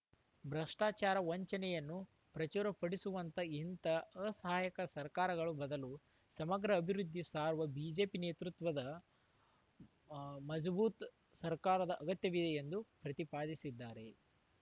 ಭ್ರಷ್ಟಾಚಾರ ವಂಚನೆಯನ್ನು ಪ್ರಚುರಪಡಿಸುವಂಥ ಇಂತಹ ಅ ಸಹಾಯಕ ಸರ್ಕಾರಗಳ ಬದಲು ಸಮಗ್ರ ಅಭಿವೃದ್ಧಿ ಸಾರುವ ಬಿಜೆಪಿ ನೇತೃತ್ವದ ಹ್ ಮಜಬೂತ್‌ ಸರ್ಕಾರದ ಅಗತ್ಯವಿದೆ ಎಂದು ಪ್ರತಿಪಾದಿಸಿದ್ದಾರೆ